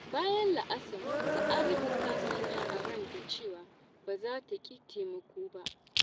Bayan la’asar, Sa'adatu ta sanya a ranta cewa ba za ta ƙi taimako ba.